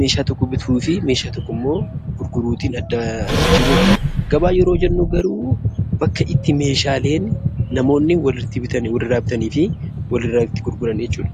meeshaa tokko bituu fi meeshaa tokkommoo gurguruutin adda jijjiirru jechuudha. Gabaa yeroo jennu garuu bakka itti meeshaaleen namoonni walitti bitani walirraa bitanii fi walirraa itti gurgurani jechuudha.